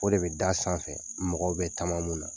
O de bɛ da sanfɛ mɔgɔw bɛ taama n'o ye